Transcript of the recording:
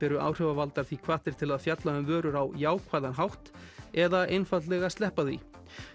eru áhrifavaldar því hvattir til að fjalla um vörur á jákvæðan hátt eða einfaldlega sleppa því